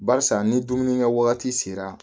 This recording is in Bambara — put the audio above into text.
Barisa ni dumunikɛwagati sera